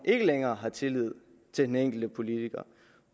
ikke længere er tillid til den enkelte politiker